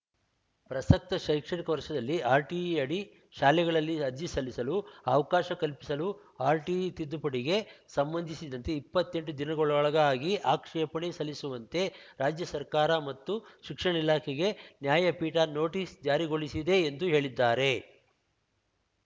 ಪ್ರಸಕ್ತ ಶೈಕ್ಷಣಿಕ ವರ್ಷದಲ್ಲಿ ಆರ್‌ಟಿಇಯಡಿ ಶಾಲೆಗಳಲ್ಲಿ ಅರ್ಜಿ ಸಲ್ಲಿಸಲು ಅವಕಾಶ ಕಲ್ಪಿಸಲು ಆರ್‌ಟಿಇ ತಿದ್ದುಪಡಿಗೆ ಸಂಬಂಧಿಸಿದಂತೆ ಇಪ್ಪತ್ತೆಂಟು ದಿನಗಳೊಳಗಾಗಿ ಆಕ್ಷೇಪಣೆ ಸಲ್ಲಿಸುವಂತೆ ರಾಜ್ಯ ಸರ್ಕಾರ ಮತ್ತು ಶಿಕ್ಷಣ ಇಲಾಖೆಗೆ ನ್ಯಾಯಪೀಠ ನೋಟಿಸ್‌ ಜಾರಿಗೊಳಿಸಿದೆ ಎಂದು ಹೇಳಿದ್ದಾರೆ